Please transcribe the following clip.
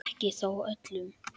Ekki þó öllum.